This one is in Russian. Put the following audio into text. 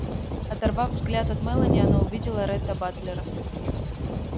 оторвав взгляд от мелани она увидела ретта батлера